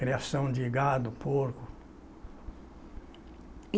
Criação de gado, porco.